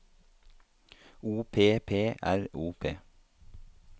O P P R O P